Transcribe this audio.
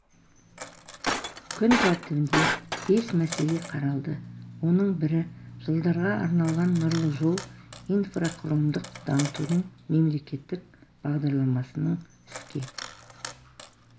күн тәртібінде бес мәселе қаралды оның бірі жылдарға арналған нұрлы жол инфрақұрылымдық дамытудың мемлекеттік бағдарламасының іске